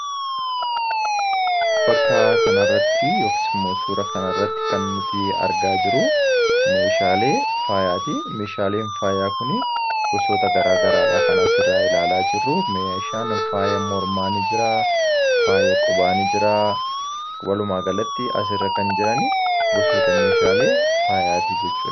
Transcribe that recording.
bakka kanarratti yookan immoo suuraan nuti argaa jirru meeshaalee faayaati. Meeshaaleen faayaa kun gosoota garaa garaa kan asirra ilaalaa jirru. Meeshaa faaya mormaa ni jira, faaya qubaa ni jira Walumaa galatti asirra kan jiran goosoota meeshaalee faayaati jechuudha